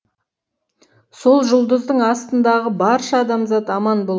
сол жұлдыздың астындағы барша адамзат аман бол